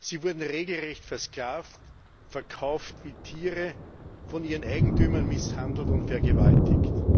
Sie wurden regelrecht versklavt, verkauft wie Tiere, von ihren Eigentümern misshandelt und vergewaltigt.